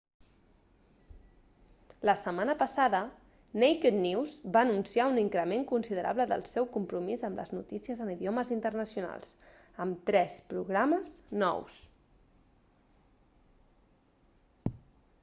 la setmana passada naked news va anunciar un increment considerable del seu compromís amb les notícies en idiomes internacionals amb tres programes nous